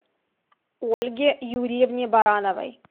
ольге юрьевне барановой